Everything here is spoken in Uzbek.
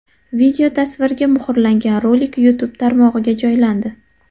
Videotasvirga muhrlangan rolik YouTube tarmog‘iga joylandi .